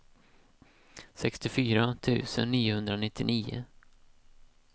sextiofyra tusen niohundranittionio